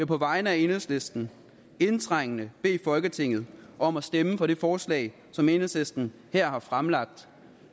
på vegne af enhedslisten indtrængende bede folketinget om at stemme for det forslag som enhedslisten her har fremsat